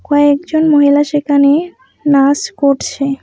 কয়েকজন মহিলা সেখানে নাচ করছে।